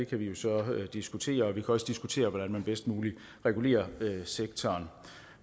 kan vi jo så diskutere og vi kan også diskutere hvordan man bedst muligt regulerer sektoren